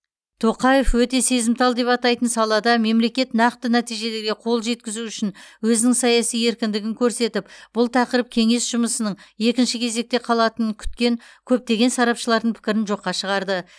тоқаев өте сезімтал деп атайтын салада мемлекет нақты нәтижелерге қол жеткізу үшін өзінің саяси еркіндігін көрсетіп бұл тақырып кеңес жұмысының екінші кезекте қалатынын күткен көптеген сарапшылардың пікірін жоққа шығарды